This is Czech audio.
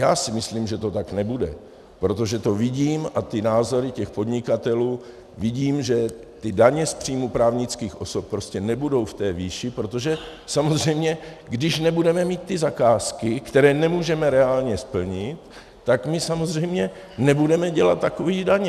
Já si myslím, že to tak nebude, protože to vidím, a ty názory těch podnikatelů, vidím, že ty daně z příjmu právnických osob prostě nebudou v té výši, protože samozřejmě když nebudeme mít ty zakázky, které nemůžeme reálně splnit, tak my samozřejmě nebudeme dělat takové daně.